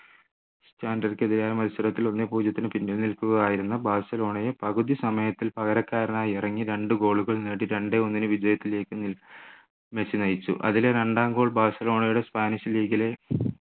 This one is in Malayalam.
ക്കെതിരെ മത്സരത്തിൽ ഒന്നേ പൂജ്യത്തിന് പിന്നിൽ നിൽക്കുകയായിരുന്ന ബാഴ്സലോണയെ പകുതി സമയത്തിൽ പകരക്കാരനായി ഇറങ്ങി രണ്ടു goal കൾ നേടി രണ്ടേ ഒന്നിന് വിജയത്തിലേക്ക് മെസ്സി നയിച്ചു അതിലെ രണ്ടാം goal ബാഴ്സലോണയുടെ സ്പാനിഷ് league ലെ